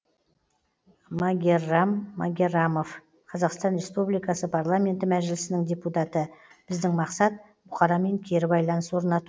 магеррам магеррамов қазақстан республикасы парламенті мәжілісінің депутаты біздің мақсат бұқарамен кері байланыс орнату